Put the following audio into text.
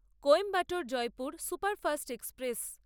Coimbatore Jaipur superfast express